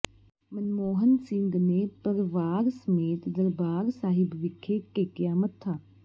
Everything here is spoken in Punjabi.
ਮਨਮੋਹਨ ਸਿੰਘ ਨੇ ਪਰਵਾਰ ਸਮੇਤ ਦਰਬਾਰ ਸਾਹਿਬ ਵਿਖੇ ਟੇਕਿਆ ਮੱਥਾ